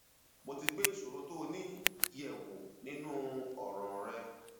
mo ti gbé ìṣòro tó o ní yẹ wò nínú ọràn rẹ